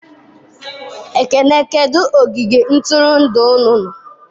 Ekene kedu ogige ntụrụndụ unu nọ?